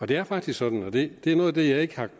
det er faktisk sådan og det er noget af det jeg ikke